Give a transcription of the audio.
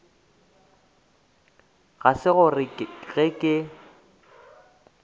ga se gore ge ke